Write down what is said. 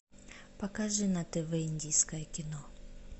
покажи на тв индийское кино